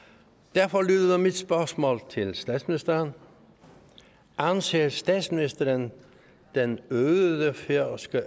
derfor lyder mit spørgsmål til statsministeren anser statsministeren den øgede færøske